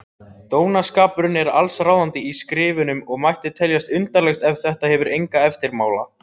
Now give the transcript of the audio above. Dónaskapurinn er allsráðandi í skrifunum og mætti teljast undarlegt ef þetta hefur enga eftirmála.